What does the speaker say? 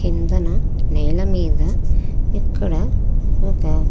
కిందన నేల మీద ఇక్కడ ఒక.